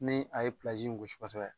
Ni a ye gosi kosɛbɛ.